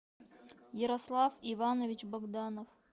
ярослав иванович богданов